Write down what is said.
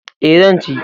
E, zan ci.